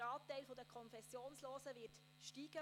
Der Anteil an Konfessionslosen wird steigen.